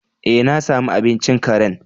Eh, na sami abincin karen.